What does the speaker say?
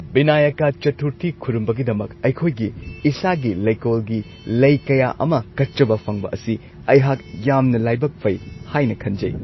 ꯕꯤꯅꯥꯌꯀꯥ ꯆꯊꯨꯔꯊꯤ ꯈꯨꯔꯨꯝꯕꯒꯤꯗꯃꯛ ꯑꯩꯈꯣꯏꯒꯤ ꯏꯁꯥꯒꯤ ꯂꯩꯀꯣꯜꯒꯤ ꯂꯩ ꯀꯌꯥ ꯑꯃ ꯀꯠꯆꯕ ꯐꯪꯕ ꯑꯁꯤ ꯑꯩꯍꯥꯛ ꯌꯥꯝꯅ ꯂꯥꯢꯕꯛ ꯐꯩ ꯍꯥꯏꯅ ꯈꯟꯖꯩ ꯫